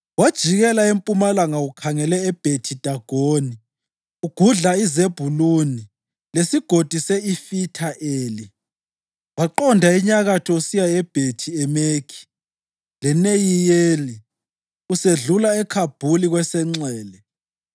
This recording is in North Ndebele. Wajikela empumalanga ukhangele eBhethi-Dagoni, ugudla iZebhuluni leSigodi se-Ifitha Eli, waqonda enyakatho usiya eBhethi-Emekhi leNeyiyeli, usedlula eKhabhuli kwesenxele.